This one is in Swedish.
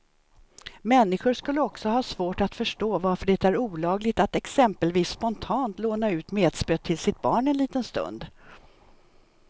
Människor skulle också ha svårt att förstå varför det är olagligt att exempelvis spontant låna ut metspöet till sitt barn en liten stund.